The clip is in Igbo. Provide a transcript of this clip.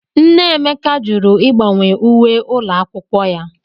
Nne Emeka jụrụ ịgbanwe uwe ụlọ akwụkwọ ya.